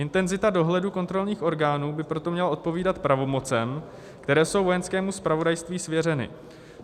Intenzita dohledu kontrolních orgánů by proto měla odpovídat pravomocem, které jsou Vojenskému zpravodajství svěřeny.